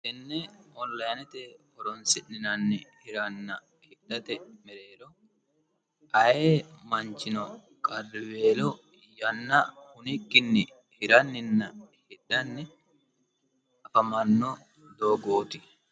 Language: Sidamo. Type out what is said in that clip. Tenne onlayinete horonsi'ninanni hiranna hidhate mereero aye manchino qariweelo yanna hunikkinni hiranninna hidhanni afamanno doogooti